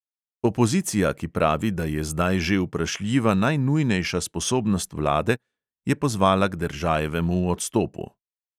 Opozicija, ki pravi, da je zdaj že vprašljiva najnujnejša sposobnost vlade, je pozvala k deržajevemu odstopu.